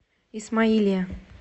исмаилия